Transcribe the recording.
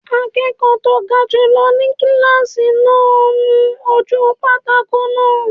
Akẹ́kọ̀ọ́ tó ga jùlọ ni kílásì náà ń nu ojú pátákó náà